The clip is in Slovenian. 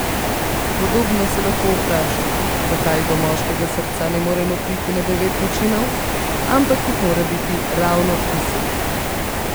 Podobno se lahko vprašamo, zakaj do moškega srca ne moremo priti na devet načinov, ampak jih mora biti ravno deset.